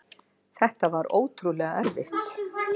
Þetta var ótrúlega erfitt.